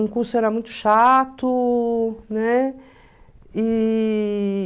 Um curso era muito chato, né? E...